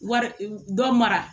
Wari dɔ mara